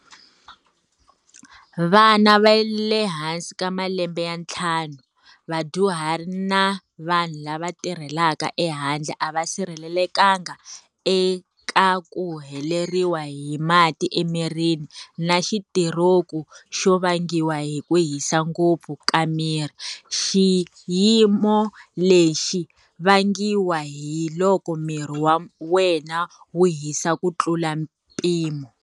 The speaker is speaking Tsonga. Vana va le hansi ka malembe ya ntlhanu, vadyuhari na vanhu lava va tirhelaka ehandle a va sirhelelekanga eka ku heleriwa hi mati emirini na xitiroku xo vangiwa hi ku hisa ngopfu ka miri, xiyimo lexi vangiwaka hi loko miri wa wena wu hisa ku tlula mpimo.